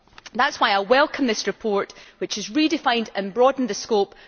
That is why I welcome this report, which has redefined and broadened the scope.